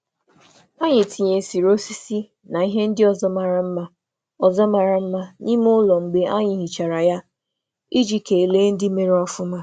Anyị na-etinye osisi na ihe ịchọ mma n’ime ụlọ mgbe a rụchara nhicha ka anyị nwee ekele n’ọrụ ahụ.